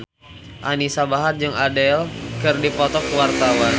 Anisa Bahar jeung Adele keur dipoto ku wartawan